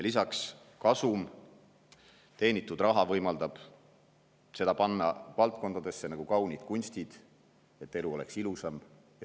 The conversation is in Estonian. Lisaks saab kasumina teenitud raha panna sellistesse valdkondadesse nagu kaunid kunstid, et elu oleks ilusam.